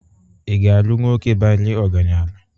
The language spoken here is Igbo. Ị ga-alụ nwoke bara ọgaranya?